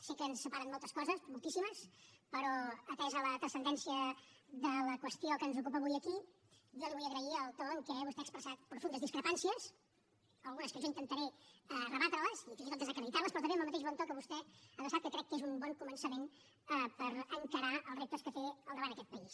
sé que ens separen moltes coses moltíssimes però atesa la transcendència de la qüestió que ens ocupa avui aquí jo li vull agrair el to en què vostè ha expressat profundes discrepàncies algunes que jo intentaré rebatre les i fins i tot desacreditar les però també amb el mateix bon to que vostè ha adreçat que crec que és un bon començament per encarar els reptes que té al davant aquest país